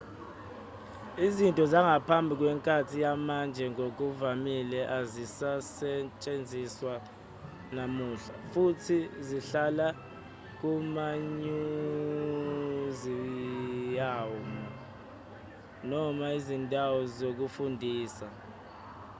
izinto zangaphambi kwenkathi yamanje ngokuvamile azisasetshenziswa namuhla futhi zihlala kumamyuziyamu noma izindawo zokufundisa